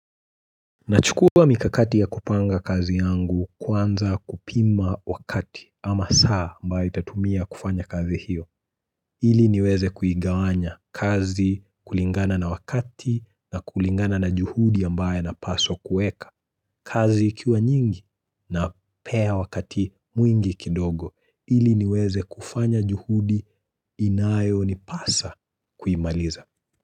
Nachukua mikakati ya kupanga kazi yangu kwanza kupima wakati ama saa ambayo itatumia kufanya kazi hiyo. Ili niweze kuigawanya kazi kulingana na wakati na kulingana na juhudi ambaye napaswa kueka kazi ikiwa nyingi napea wakati mwingi kidogo ili niweze kufanya juhudi inayo nipasa kuimaliza.